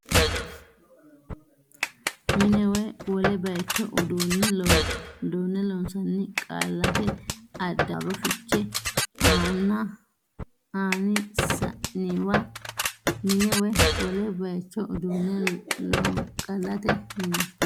Mine woy wole baycho uduunne loon qaallate addaarro fiche ani saanniwa Mine woy wole baycho uduunne loon qaallate Mine woy.